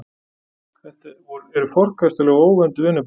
Þetta eru forkastanleg og óvönduð vinnubrögð